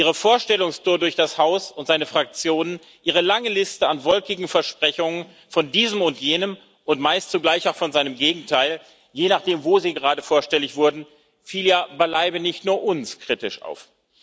Ihre Vorstellungstour durch das Haus und seine Fraktionen, Ihre lange Liste an wolkigen Versprechungen von diesem und jenem und meist zugleich auch von seinem Gegenteil, je nachdem wo sie gerade vorstellig wurden, fiel ja beileibe nicht nur uns kritisch auf.